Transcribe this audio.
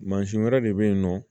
Mansin wɛrɛ de bɛ yen nɔ